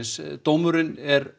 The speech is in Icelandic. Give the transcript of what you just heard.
dómurinn er